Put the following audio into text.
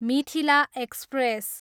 Mithila express